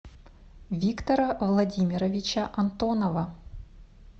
виктора владимировича антонова